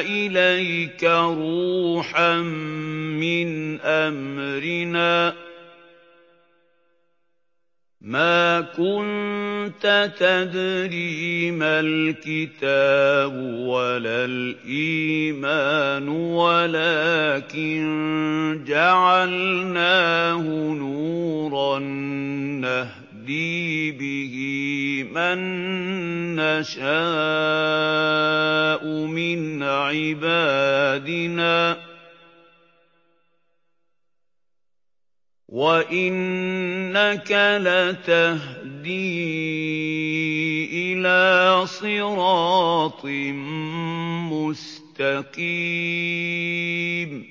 إِلَيْكَ رُوحًا مِّنْ أَمْرِنَا ۚ مَا كُنتَ تَدْرِي مَا الْكِتَابُ وَلَا الْإِيمَانُ وَلَٰكِن جَعَلْنَاهُ نُورًا نَّهْدِي بِهِ مَن نَّشَاءُ مِنْ عِبَادِنَا ۚ وَإِنَّكَ لَتَهْدِي إِلَىٰ صِرَاطٍ مُّسْتَقِيمٍ